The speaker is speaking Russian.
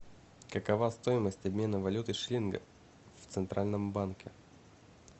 какова стоимость обмена валюты шиллинга в центральном банке